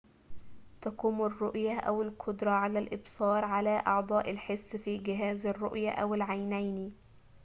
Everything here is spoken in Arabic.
تقوم الرؤية أو القدرة على الإبصار على أعضاء الحس في جهاز الرؤية أو العينين